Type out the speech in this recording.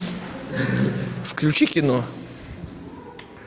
включи кино